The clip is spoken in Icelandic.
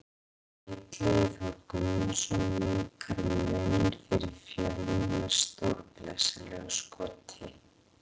Illugi Þór Gunnarsson minnkar muninn fyrir Fjölni með stórglæsilegu skoti!